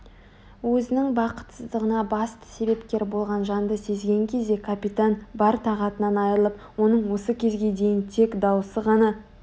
өзінің бақытсыздығына басты себепкер болған жанды сезген кезде капитан бар тағатынан айырылып оның осы кезге дейін тек даусы ғана